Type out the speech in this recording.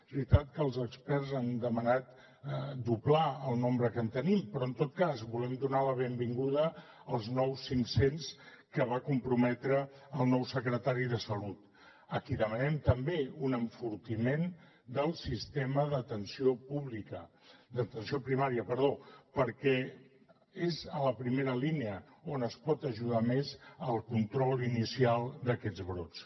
és veritat que els experts han demanat doblar el nombre que en tenim però en tot cas volem donar la benvinguda als nous cinc cents que va comprometre el nou secretari de salut a qui demanem també un enfortiment del sistema d’atenció primària perquè és a la primera línia on es pot ajudar més al control inicial d’aquests brots